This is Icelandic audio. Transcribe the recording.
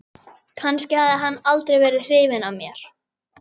Kannski hafði hann aldrei verið hrifinn af mér.